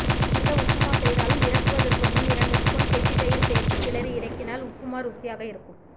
எந்த உப்புமா செய்தாலும் இறக்குவதற்கு முன் இரண்டு ஸ்பூன் கெட்டி தயிர் சேர்த்து கிளறி இறக்கினால் உப்புமா ருசியாக இருக்கும்